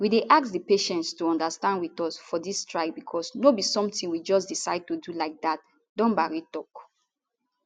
we dey ask di patients to understand wit us for dis strike becos no be somtin we just decide to do like dat dumbari tok